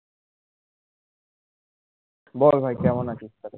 বল ভাই কেমন আছিস বল